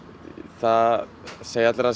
það segja allir að